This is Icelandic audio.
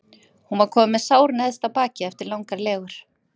Hún var komin með sár neðst á bakið eftir langar legur.